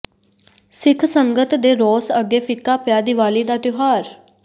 ਸਿੱਖ ਸੰਗਤ ਦੇ ਰੋਸ ਅੱਗੇ ਫ਼ਿੱਕਾ ਪਿਆ ਦੀਵਾਲੀ ਦਾ ਤਿਉਹਾਰ